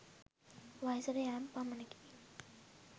වයසට යෑම පමණකි.